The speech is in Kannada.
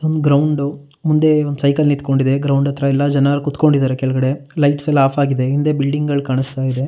ಒಂದ್ ಗ್ರೌಂಡ್ ಮುಂದೆ ಒಂದ್ ಸೈಕಲ್ ನಿಂತ್ಕೊಂಡಿದೆ ಗ್ರೌಂಡ್ ಹತ್ರ ಎಲ್ಲ ಜನರು ಕುತ್ಕೊಂಡಿದ್ದಾರೆ ಕೆಳಗಡೆ ಲೈಟ್ಸ್ ಎಲ್ಲ ಆಫ್ ಆಗಿದೆ ಹಿಂದೆ ಬಿಲ್ಡಿಂಗ್ ಗಳು ಕಾಣಿಸ್ತಾಯಿದೆ.